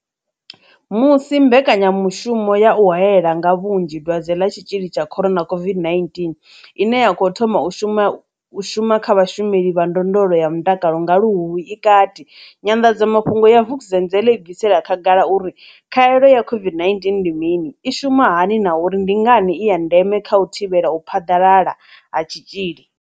Musi mbekanyamu shumo ya u haela nga vhunzhi dwadze ḽa Tshitzhili tsha corona COVID-19 ine ya khou thoma u shuma kha vhashumeli vha ndondolo ya mutakalo nga Luhuhi i kati, nyanḓadzamafhungo ya Vukuzenzele i bvisela khagala uri khaelo ya COVID-19 ndi mini, i shumisa hani na uri ndi ngani i ya ndeme kha u thivhela u phaḓalala ha tshitzhili.